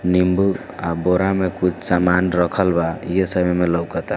नीम्बू आह बोरा में कुछ सामान रखल बा ये सुब में लउकत आ।